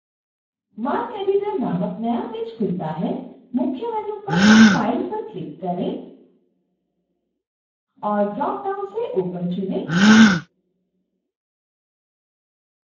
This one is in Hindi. marceditor नामक नया पेज खुलता है